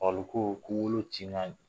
Olu ko'wolo cin